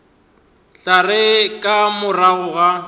tla re ka morago ga